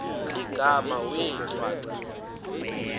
igama wee shwaca